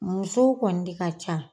Musow kɔni de ka ca.